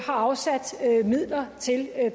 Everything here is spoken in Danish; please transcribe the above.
har afsat midler til